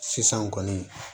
Sisan kɔni